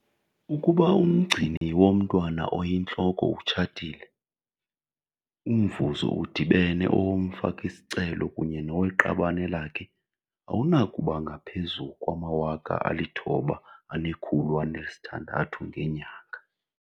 Ukuba umgcini womntwana oyintloko utshatile, umvuzo udibene owomfaki-sicelo kunye noweqabane lakhe awunakuba ngaphezu kwama-R9 600 ngenyanga.